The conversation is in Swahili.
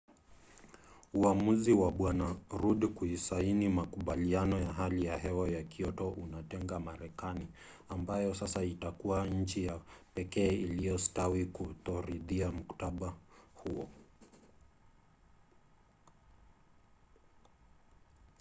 uamuzi wa bw. rudd kusaini makubaliano ya hali ya hewa ya kyoto unatenga marekani ambayo sasa itakuwa nchi ya pekee iliyostawi kutoridhia mkataba huo